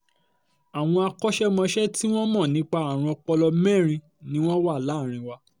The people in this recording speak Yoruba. àwọn akọ́ṣẹ́mọṣẹ́ tí wọ́n mọ̀ nípa àrùn ọpọlọ mẹ́rin ni wọ́n wà láàrin wa